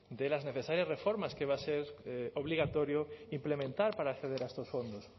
de las necesarias reformas que va a ser obligatorio implementar para acceder a estos fondos